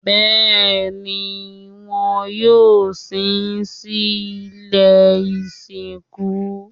Bẹ́ẹ̀ni, wọn yóò sin sí ilé ìsìnkú